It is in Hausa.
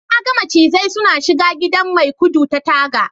na ga macizai suna shiga gidan maikudu ta taga